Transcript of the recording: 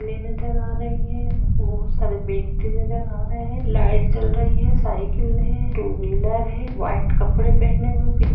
ले नज़र आ रही है। बोहोत सारे व्यक्ति नज़र आ रहे हैं। लाइट जल रही है। साईकिल है टू व्हीलर है। व्हाइट कपड़े पेहने हुए --